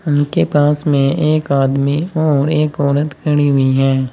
उनके पास में एक आदमी और एक औरत खड़ी हुई है।